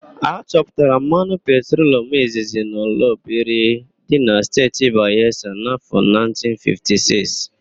A chọpụtara mmanụ petrolum izizi n'Oloibiri dị na Steeti Bayelsa n'áfọ̀ 1956.